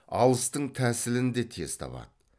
алыстың тәсілін де тез табады